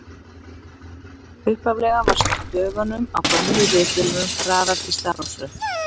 Upphaflega var stöfunum á gömlu ritvélunum raðað í stafrófsröð.